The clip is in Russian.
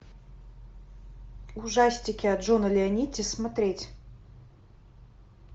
ужастики от джона леонетти смотреть